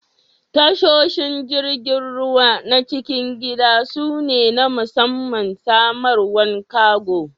Tashoshin jirigin ruwa na' cikin gida su ne na musamman samarwan kargo.